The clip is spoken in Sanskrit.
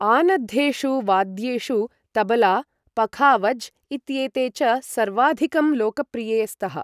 आनद्धेषु वाद्येषु तबला, पखावज् इत्येते च सर्वाधिकं लोकप्रिये स्तः।